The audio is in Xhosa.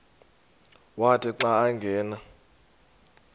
wathi xa angena